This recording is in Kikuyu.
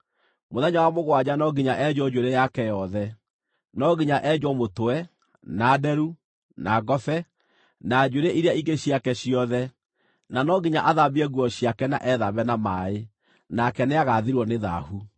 Mũthenya wa mũgwanja no nginya enjwo njuĩrĩ yake yothe; no nginya enjwo mũtwe, na nderu, na ngobe, na njuĩrĩ iria ingĩ ciake ciothe. Na no nginya athambie nguo ciake na ethambe na maaĩ, nake nĩagathirwo nĩ thaahu.